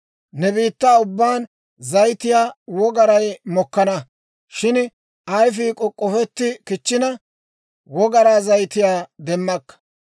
Ne biittaa ubbaan zayitiyaa wogaray mokkana; shin ayfii k'ok'k'ofetti kichchina, wogaraa zayitiyaa demmakka.